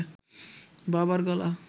বাবার গলা